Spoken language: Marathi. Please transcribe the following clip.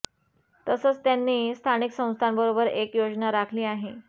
तसंच त्यांनी स्थानिक संस्थांबरोबर एक योजना आखली आहे